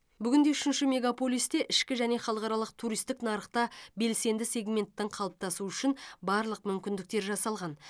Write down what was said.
бүгінде үшінші мегаполисте ішкі және халықаралық туристік нарықта белсенді сегменттің қалыптасуы үшін барлық мүмкіндіктер жасалған